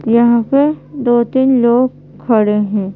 यहां पे दो तीन लोग खड़े है।